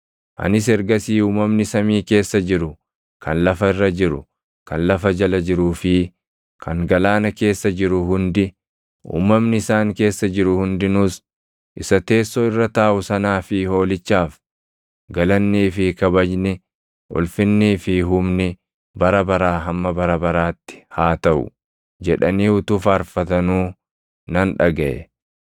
Anis ergasii uumamni samii keessa jiru, kan lafa irra jiru, kan lafa jala jiruu fi kan galaana keessa jiru hundi, uumamni isaan keessa jiru hundinuus, “Isa teessoo irra taaʼu sanaa fi Hoolichaaf, galannii fi kabajni, ulfinnii fi humni, bara baraa hamma bara baraatti haa taʼu!” jedhanii utuu faarfatanuu nan dhagaʼe.